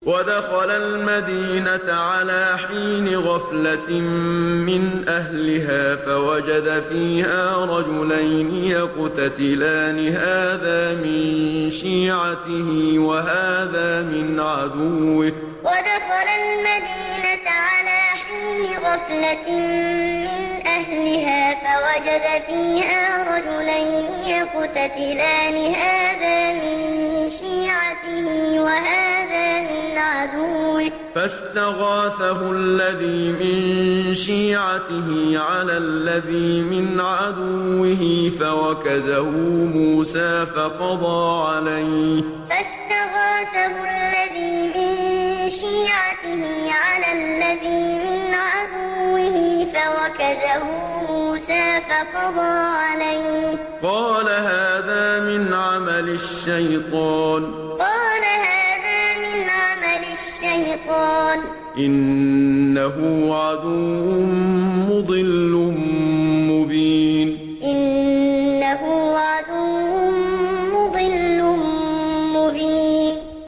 وَدَخَلَ الْمَدِينَةَ عَلَىٰ حِينِ غَفْلَةٍ مِّنْ أَهْلِهَا فَوَجَدَ فِيهَا رَجُلَيْنِ يَقْتَتِلَانِ هَٰذَا مِن شِيعَتِهِ وَهَٰذَا مِنْ عَدُوِّهِ ۖ فَاسْتَغَاثَهُ الَّذِي مِن شِيعَتِهِ عَلَى الَّذِي مِنْ عَدُوِّهِ فَوَكَزَهُ مُوسَىٰ فَقَضَىٰ عَلَيْهِ ۖ قَالَ هَٰذَا مِنْ عَمَلِ الشَّيْطَانِ ۖ إِنَّهُ عَدُوٌّ مُّضِلٌّ مُّبِينٌ وَدَخَلَ الْمَدِينَةَ عَلَىٰ حِينِ غَفْلَةٍ مِّنْ أَهْلِهَا فَوَجَدَ فِيهَا رَجُلَيْنِ يَقْتَتِلَانِ هَٰذَا مِن شِيعَتِهِ وَهَٰذَا مِنْ عَدُوِّهِ ۖ فَاسْتَغَاثَهُ الَّذِي مِن شِيعَتِهِ عَلَى الَّذِي مِنْ عَدُوِّهِ فَوَكَزَهُ مُوسَىٰ فَقَضَىٰ عَلَيْهِ ۖ قَالَ هَٰذَا مِنْ عَمَلِ الشَّيْطَانِ ۖ إِنَّهُ عَدُوٌّ مُّضِلٌّ مُّبِينٌ